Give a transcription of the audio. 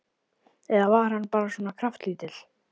Eða var hann bara svona kraftlítill?